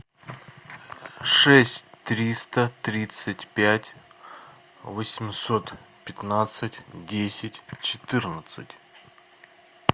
шесть триста тридцать пять восемьсот пятнадцать десять четырнадцать